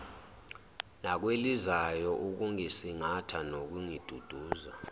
nakwelizayo ukungisingatha nokungidudza